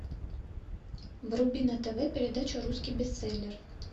вруби на тв передачу русский бестселлер